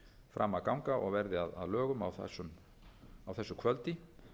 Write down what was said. fram að ganga og verði að lögum á þessu kvöldi